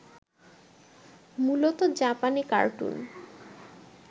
মূলত জাপানী কার্টুন